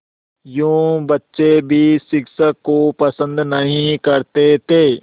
यूँ बच्चे भी शिक्षक को पसंद नहीं करते थे